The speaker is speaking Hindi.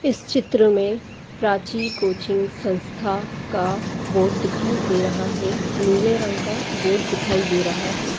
इस चित्र में प्राची कोचिंग संस्था का बोर्ड दिखाई दे रहा है नीले रंग का बोर्ड दिखाई दे रहा है।